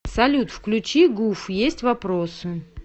салют включи гуф есть вопросы